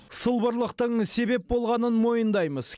сылбырлықтың себеп болғанын мойындаймыз